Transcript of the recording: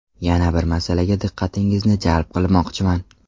Yana bir masalaga diqqatingizni jalb qilmoqchiman.